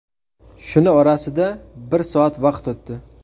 Shuni orasida bir soat vaqt o‘tdi.